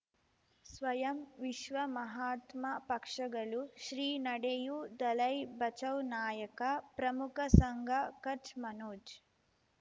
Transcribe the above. ಸ್ವಯಂ ವಿಶ್ವ ಮಹಾತ್ಮ ಪಕ್ಷಗಳು ಶ್ರೀ ನಡೆಯೂ ದಲೈ ಬಚೌ ನಾಯಕ ಪ್ರಮುಖ ಸಂಘ ಕಚ್ ಮನೋಜ್